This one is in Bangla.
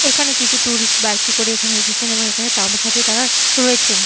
এখানে কিছু ট্যুরিস্ট বাইক এ করে এখানে এসেছেন এবং এখানে তাঁবু খাটিয়ে তাঁরা রয়েছেন।